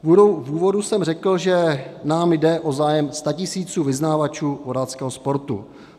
V úvodu jsem řekl, že nám jde o zájem statisíců vyznavačů vodáckého sportu.